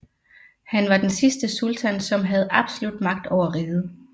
Han var den sidste sultan som havde absolut magt over riget